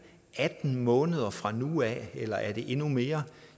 atten måneder fra nu af eller er det endnu mere